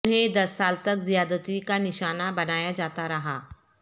انھیں دس سال تک زیادتی کا نشانہ بنایا جاتا رہا